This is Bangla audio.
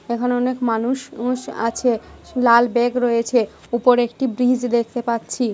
এখানে অনেক মানুষ ঊষ আছে লাল ব্যাগ রয়েছে উপরে একটি ব্রীজ দেখতে পাচ্ছি ।